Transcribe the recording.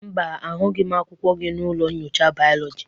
Mba, ahụghị m akwụkwọ gị n'ụlọ nyocha biology.